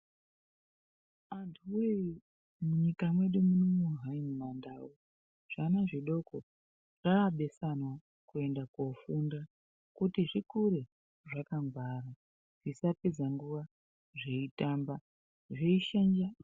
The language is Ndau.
Antu woye munyika mwedu munomu mumandau zvana zvidoko zvabesana kuenda kofunda kuti zvikure zvakangwara zvisapedza nguwa zveitamba zveishanja.